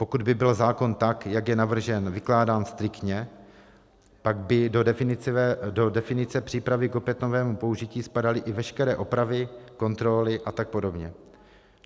Pokud by byl zákon, tak jak je navržen, vykládán striktně, pak by do definice přípravy k opětovnému použití spadaly i veškeré opravy, kontroly a tak podobně.